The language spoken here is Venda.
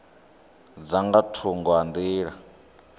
dza nga thungo ha nḓila